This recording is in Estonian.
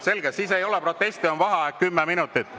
Selge, siis ei ole proteste, on vaheaeg 10 minutit.